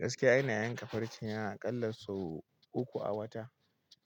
Gaskiya ina yanka farce na akalla sau uku a wata.